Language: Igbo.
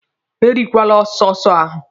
E richakwala sọsụ ahụ!